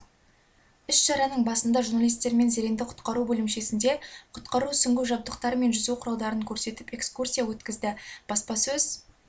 іс-шараның басында журналистермен зеренді құтқару бөлімшесінде құтқару сүңгу жабдықтары мен жүзу құралдарын көрсетіп экскурсия өткізді баспасөз